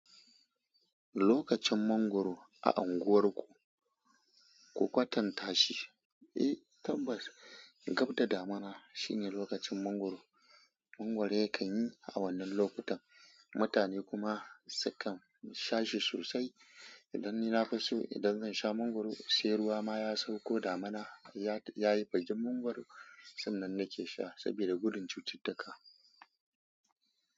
Lokacin mangwaro a unguwarku, ku kwatanta shi. Eh tabbas, gab da damina shine lokacin mangwaro. Mangwaro yakan yi a wannan lokutan, mutane kuma sukan sha shi sosai. Idan ni nafi so, idan zan sha mangwaro, sai ruwa ma ya sauko damina ya bigi mangwaron sannan nake sha saboda gudun cututtuka.